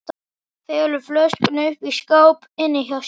Felur flöskuna uppi í skáp inni hjá sér.